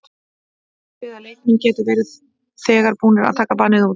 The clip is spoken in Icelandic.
Athugið að leikmenn geta verið þegar búnir að taka bannið út.